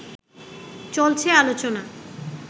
চলছে আলোচনা